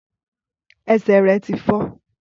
Ẹsẹ̀ rẹ̀ tí fọ́.